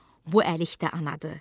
Bu əlikdə anadır.